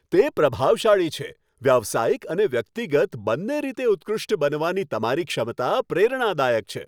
તે પ્રભાવશાળી છે. વ્યવસાયિક અને વ્યક્તિગત બંને રીતે ઉત્કૃષ્ટ બનવાની તમારી ક્ષમતા પ્રેરણાદાયક છે.